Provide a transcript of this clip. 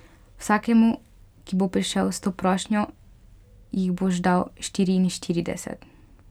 Vsakemu, ki bo prišel s to prošnjo, jih boš dal štiriinštirideset.